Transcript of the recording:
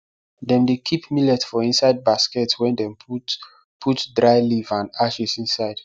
dem dey keep millet for inside basket wey dem put put dry leaf and ashes inside